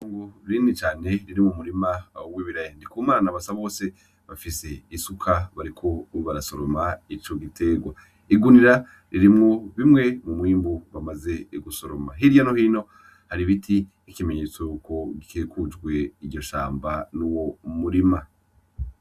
Itongo rinini cane ririmwo umurima w'ibiraya, Ndikumana na Basabose bafise isuka bariko barasoroma ico giterwa. igunira ririmwo bimwe mu mwimbu bamaze gusoroma, hirya nohino har'ibiti nk'ikimenyetso yuko rikikujwe iryo shamba n'uwo murima.